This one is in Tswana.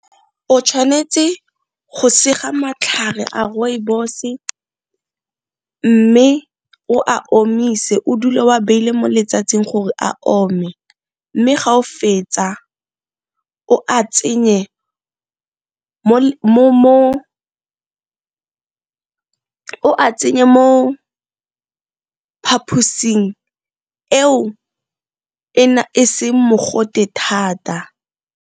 O tshwanetse go sega matlhare a Rooibos, mme o a omise o dule wa beile mo letsatsing gore a ome, mme ga o fetsa o a tsenye mo phaposing eo e seng mogote thata.